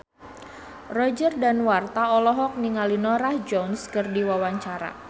Roger Danuarta olohok ningali Norah Jones keur diwawancara